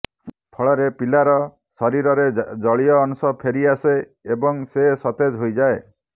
ଫଳରେ ପିଲାର ଶରୀରରେ ଜଳୀୟ ଅଂଶ ଫେରି ଆସେ ଏବଂ ସେ ସତେଜ ହୋଇଯାଏ